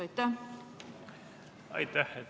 Aitäh!